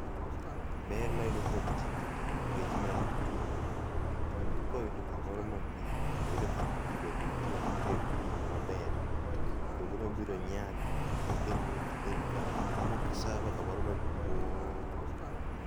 Ber mayudo kuom tijni nikech mae en kitungu. Kitungu koyudo kamoro ma miyo toyudo pii bende nitie motegno maber, to kitungu ni obiro nyak mokelni income mo sava kamor maduong'